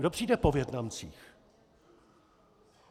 Kdo přijde po Vietnamcích?